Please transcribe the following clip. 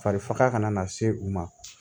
Fari faga kana se u ma